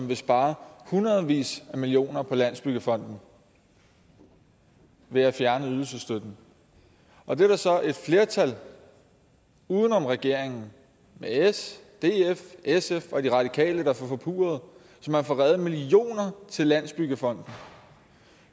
vil spare hundredvis af millioner på landsbyggefonden ved at fjerne ydelsesstøtten og det er der så et flertal uden om regeringen med s df sf og de radikale der får forpurret så man får reddet millioner til landsbyggefonden